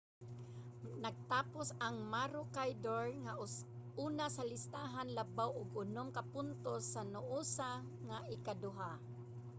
nagtapos ang maroochydore nga una sa listahan labaw og unom ka puntos sa noosa nga ikaduha